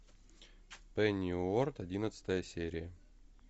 пенниуорт одиннадцатая серия